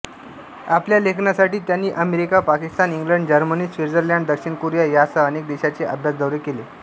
आपल्या लेखनासाठी त्यांनी America Pakistan England Germany Switzerland दक्षिण कोरिया यांसह अनेक देशांचे अभ्यासदौरे केले